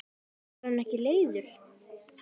Var hann ekki leiður?